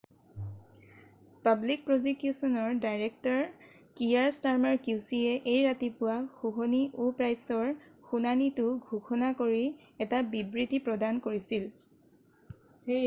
public প্ৰজিকিউছনৰ director Keir Starmer qc য়ে এই ৰাতিপুৱা হুহনি আেু প্ৰাইচৰ শুনানিটো ঘোষণা কৰি এটা বিবৃতি প্ৰদান কৰিছিল৷